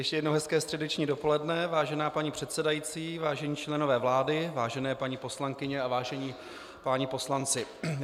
Ještě jednou - hezké středeční dopoledne, vážená paní předsedající, vážení členové vlády, vážené paní poslankyně a vážení páni poslanci.